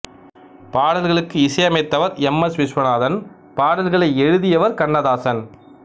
பாடல்களுக்கு இசையமைத்தவர் M S Viswanathan பாடல்களை எழுதியவர் கண்ணதாசன்